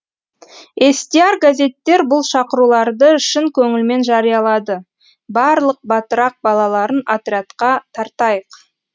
естияр газеттер бұл шақыруларды шын көңілмен жариялады барлық батырақ балаларын отрядқа тартайық